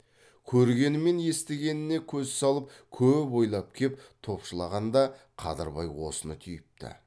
көргені мен естігеніне көз салып көп ойлап кеп топшылағанда қадырбай осыны түйіпті